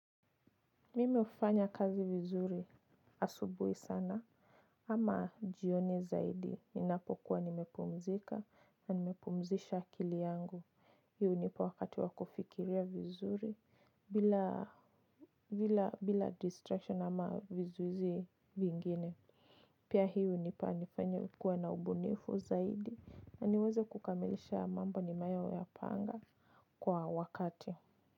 Mimei hufanya kazi vizuri asubuhi sana ama jioni zaidi ninapokuwa nimepumzika na nimepumzisha akili yangu hii hunipa wakati wa kufikiria vizuri bila distraction ama vizuizi vingine pia hii hunipa nifanye kuwa na ubunifu zaidi na niweze kukamilisha mambo ninayoyapanga kwa wakati.